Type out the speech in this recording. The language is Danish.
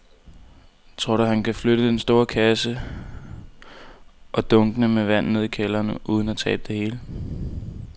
Tror du, at han kan flytte den store kasse og dunkene med vand ned i kælderen uden at tabe det hele?